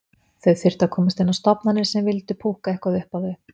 Þau þyrftu að komast inn á stofnanir sem vildu púkka eitthvað upp á þau.